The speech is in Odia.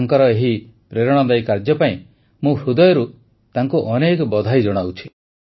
ତାଙ୍କର ଏହି ପ୍ରେରଣାଦାୟୀ କାର୍ଯ୍ୟ ପାଇଁ ମୁଁ ହୃଦୟରୁ ତାଙ୍କୁ ଅନେକ ବଧେଇ ଜଣାଉଛି